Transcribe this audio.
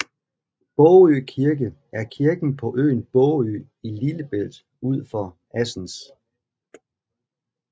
Bågø Kirke er kirken på øen Bågø i Lillebælt ud for Assens